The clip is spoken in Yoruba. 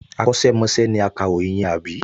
Akọ́ṣẹ́mọṣẹ́ ni akàròyìn yẹn, àbí?